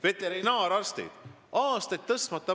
Veterinaararstidel pole palk aastaid tõusnud.